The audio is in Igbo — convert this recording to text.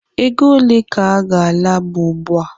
Ego ole ka gala bu ugbua?